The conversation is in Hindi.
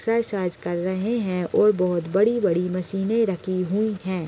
एक्सरसाइज कर रहे हैं और बहुत बड़ी बड़ी मशीने रखी हुई हैं ।